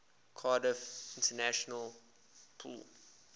cardiff international pool